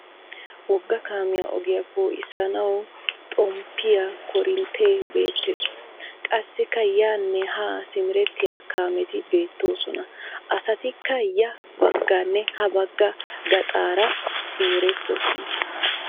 Wogga kaamiya ogiya poo'issana w xomppiya koorinttee beettes. Qassikka yaanne haa simerettiya kaameti beettoosona. Asatikka ya bagganne ha bagga gaxaara simerettoosona.